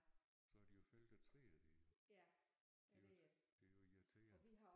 Så har de jo fældet træet og det hele det jo det jo irriterende